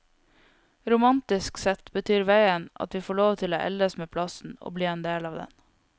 Romantisk sett betyr veien at vi får lov til å eldes med plassen og bli en del av den.